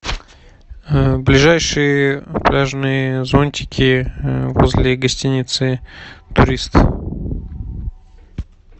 ближайшие пляжные зонтики возле гостиницы турист